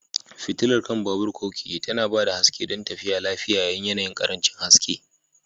Fitilar kan babur/keke tana ba da haske don tafiya lafiya yayin yanayin ƙarancin haske.